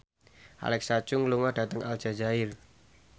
Alexa Chung lunga dhateng Aljazair